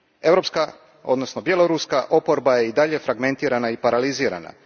Europska, odnosno bjeloruska oporba je i dalje fragmentirana i paralizirana.